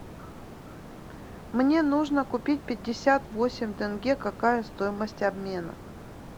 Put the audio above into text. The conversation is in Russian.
мне нужно купить пятьдесят восемь тенге какая стоимость обмена